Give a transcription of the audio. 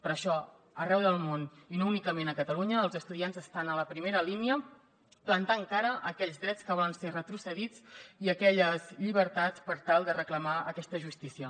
per això arreu del món i no únicament a catalunya els estudiants estan a la primera línia plantant cara per aquells drets que volen ser retrocedits i aquelles llibertats per tal de reclamar aquesta justícia